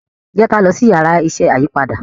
jẹ ki a lọ si Yàrá iṣẹ́ ayípadà